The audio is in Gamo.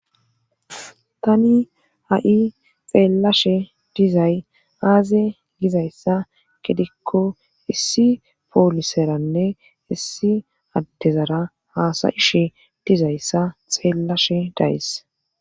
Tani a7i xeellashe dizay aaze gizayssa gedikko issi pooliseranne issi addezara haasayishe dizayssa xeellashe days.